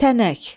Tənək.